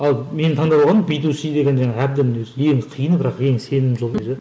ал мен таңдап аламын би ту си деген жаңағы әбден өзі ең қиыны бірақ ең сенімді жұлдызы